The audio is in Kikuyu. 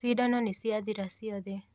Cindano nĩciathira ciothe.